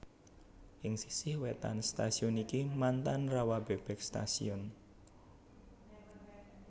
Ing sisih wétan stasiun iki mantan Rawabebek Station